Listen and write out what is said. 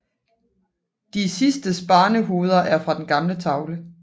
De sidstes barnehoveder er fra den gamle tavle